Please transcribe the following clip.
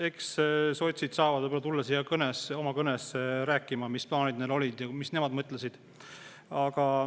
Eks sotsid saavad tulla siia kõnet ja rääkima, mis plaanid neil olid, mida nemad mõtlesid.